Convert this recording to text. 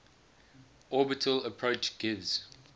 orbital approach gives